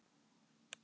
Sex ný hlið